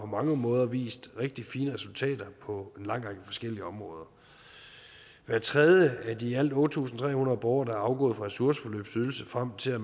mange måder vist rigtig fine resultater på en lang række forskellige områder hver tredje af de i alt otte tusind tre hundrede borgere der er afgået fra ressourceforløbsydelse frem til